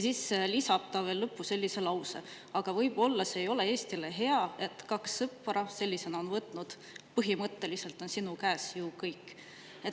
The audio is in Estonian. Lõppu lisas ta veel sellise lause: "Aga võib-olla see ei ole Eestile hea, et kaks sõpra sellisena on võtnud... põhimõtteliselt on sinu käes ju kõik.